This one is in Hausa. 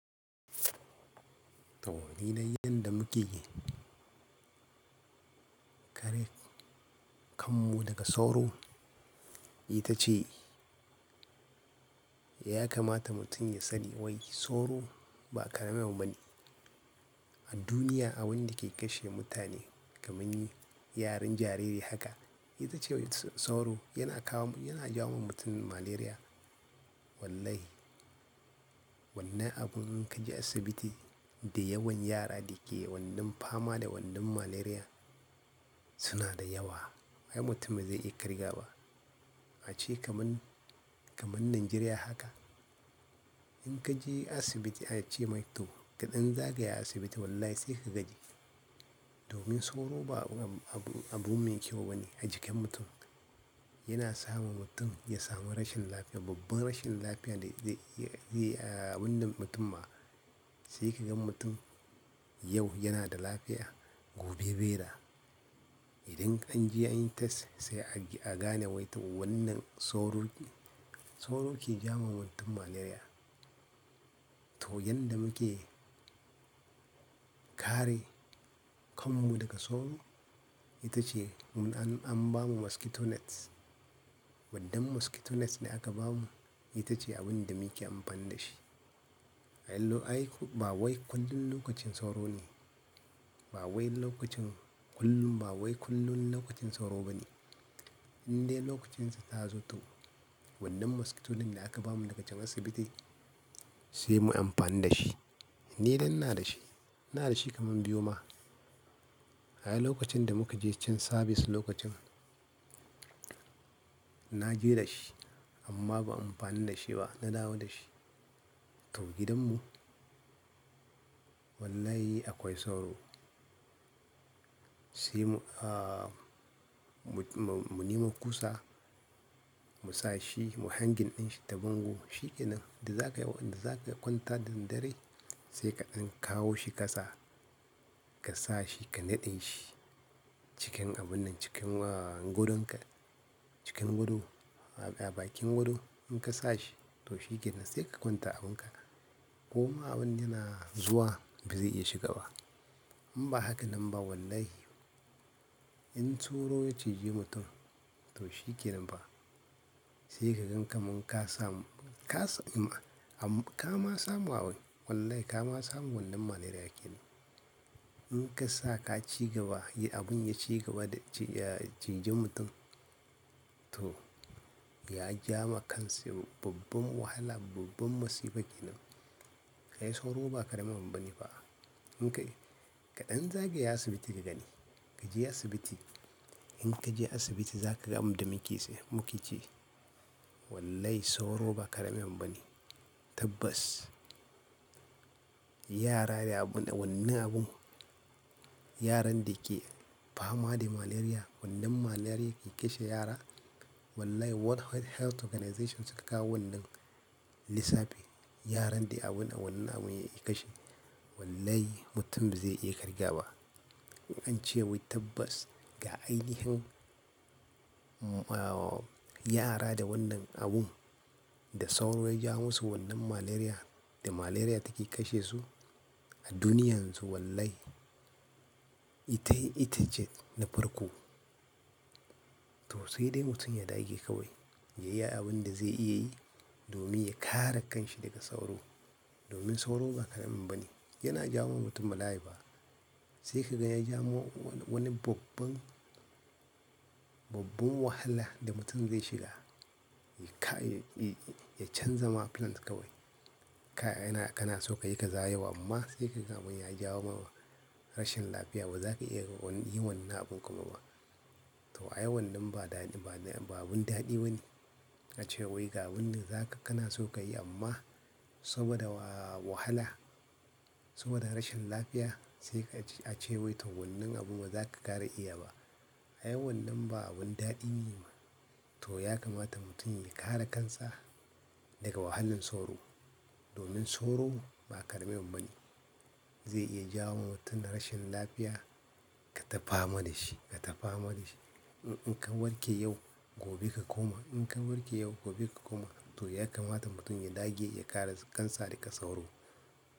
To, ni dai yadda muke kare kanmu daga tsauro, ita ce ya kamata mutum ya sani wai tsauro ba karimi abu bane. A duniya, abin da ke kashe mutane kaman yaran jariri haka, ita ce wai tsanro yana jawo wa mutum malaria. Wallahi, wannan abun in ka je asibiti da yawan yara da ke wannan fama da wannan malaria suna da yawa. Ai mutum ba zai iya kirga ba. A ce kaman, kaman Najeriya haka, in ka je asibiti a ce mai to kaɗan zagaya asibiti wallahi sai ka gaji. Domin sauro ba abu mai kyau bane a jikin mutum. Yana sa ma mutum ya samu rashin lafiya, babban rashin lafiya da yake a wannan mutumma. Sai ka gan mutum yau yana da lafiya, gobe bai da. Idan an je an yi test sai a gane wai wannan sauro ne, sauro ke jawo wa mutum malaria. To, yanda muke kare kanmu daga sauro, ita ce mun an ba mu mosquito nets. Wannan mosquito nets da aka ba mu, ita ce abin da muke amfani da shi. Ai ba wai kullum lokacin sauro ne. Ba wai lokacin kullum, ba wai kullum lokacin sauro bane. Inda lokucinsa ta zo to wannan mosquito net da aka ba mu daga can asibiti sai mu yi amfani da shi. Ni dai ina da shi, ina da shi kaman biyu ma. Ai lokacin da muka je can service lokacin na je da shi amma ban amfani da shi ba, na dawo da shi. To gidanmu wallahi akwai sauro. Sai mu, ah, mu nema kusa, mu sa shi, mu hangi ɗan shi ta bango. Shi ke nan, da wanda za ka kwanta da daddare sai kaɗan kawo shi ƙasa ka sa shi, ka naɗe shi cikin abun nan, cikin godonka, cikin gado, a bakin gado. In ka sa shi to shi ke nan sai ka kwanta abun ka. Koma abun yana zuwa ba zai iya shiga ba. In ba haka nan ba wallahi in sauro ya ciji mutum to shi ke nan fa. Sai ka gan kaman ka samu, ka samu, kama samu awai. Wallahi kama samu wannan malaria kenan. In ka sa ka ci gaba, abun ya ci gaba da ciji mutum to ya ja ma kansa babban wahala, babban musiba kenan. Kai sauro ba karami abu bane ba. In kaɗan zagaya asibiti ka gani, ka je asibiti. In ka je asibiti za ka gan abida muke ce muke ce. Wallahi sauro ba kare mai mamani. Tabbas, yara da wannan abun, yaran da ke fama da malaria, wannan malaria ke kashe yara. Wallahi World Health Organization suka kawo wannan lissafi. Yaran da wannan abun ya kashe. Wallahi mutum zai iya kirga wa. An ce wai tabbas ga ainihin, yara da wannan abun da sauro ya ja wo musu wannan malaria da malaria take kashe su a duniya yanzu wallahi ita ce, ita ce na farko. To sai dai mutum ya dage kawai, ya iya abun da zai iya yi domin ya kare kan shi daga sauro. Domin sauro ba karami abu bane. Yana jawo wa mutum bala'i ba. Sai ka gan ya jawo wani babban, babban wahala da mutum zai shiga. Ya canza ma plans kawai. Kana so ka yi kaza yau amma sai ka gan abun ya jawo ma rashin lafiya ba za ka iya yi wannan abin kuma ba. To ai wannan ba abun daɗi bane. A ce wai ga abin da za ka, kana so ka yi amma saboda wahala, saboda rashin lafiya sai kaji a ce wai to wannan abun ba za ka ƙara iya ba. Ai wannan ba abun daɗi ne ba. To ya kamata mutum ya kare kansa daga wahalan sauro. Domin sauro ba kare mai mamani. Zai iya jawo wa mutum rashin lafiya. Ka tafama da shi, ka tafama da shi. In ka warke yau, gobe ka koma. In ka warke yau, gobe ka koma. To ya kamata mutum ya dage ya kare kansa daga sauro.